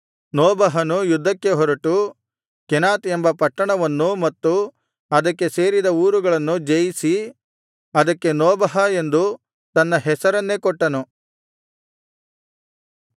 ನೋಬಹನು ಯುದ್ಧಕ್ಕೆ ಹೊರಟು ಕೆನಾತ್ ಎಂಬ ಪಟ್ಟಣವನ್ನೂ ಮತ್ತು ಅದಕ್ಕೆ ಸೇರಿದ ಊರುಗಳನ್ನೂ ಜಯಿಸಿ ಅದಕ್ಕೆ ನೋಬಹ ಎಂದು ತನ್ನ ಹೆಸರನ್ನೇ ಕೊಟ್ಟನು